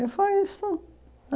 E foi isso.